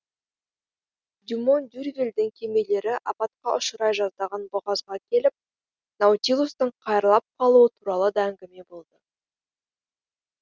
дюмон дюрвильдің кемелері апатқа ұшырай жаздаған бұғазға келіп наутилустың қайырлап қалуы туралы да әңгіме болды